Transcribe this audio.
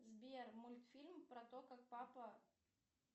сбер мультфильм про то как папа